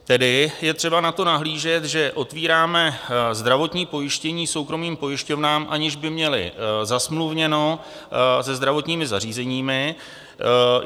Tedy je třeba na to nahlížet, že otvíráme zdravotní pojištění soukromým pojišťovnám, aniž by měly zasmluvněno se zdravotními zařízeními.